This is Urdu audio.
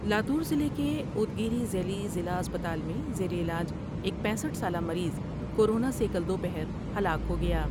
لاتور ضلع کے اود گیرد یلی ضلع اسپتال میں زیر علاج ایک پینسٹھ سالہ مریض کو رونا سے کل دو پہر ہلاک ہو گیا ۔